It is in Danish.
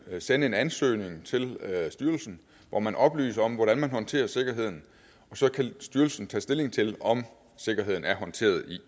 sende en ansøgning til styrelsen hvor man oplyser om hvordan man håndterer sikkerheden og så kan styrelsen tage stilling til om sikkerheden er håndteret